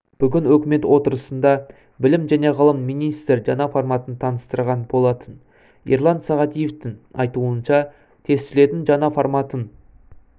бүгін үкімет отырысында білім және ғылым министрі жаңа форматын таныстырған болатын ерлан сағадиевтыңайтуынша тестілеудің жаңа форматын